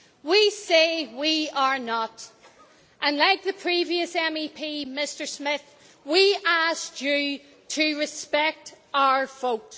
We say we are not and, like the previous MEP, Mr Smith, we asked you to respect our vote.